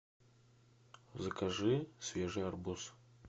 закажи свежий арбуз